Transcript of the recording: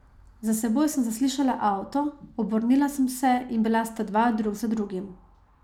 Za seboj sem zaslišala avto, obrnila sem se in bila sta dva, drug za drugim.